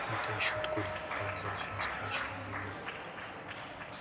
это ещё откуда подозрительно спрашиваю я